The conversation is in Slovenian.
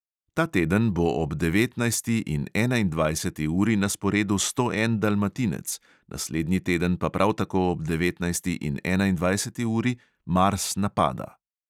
Ta teden bo ob devetnajsti in enaindvajseti uri na sporedu sto en dalmatinec, naslednji teden pa prav tako ob devetnajsti in enaindvajseti uri mars napada.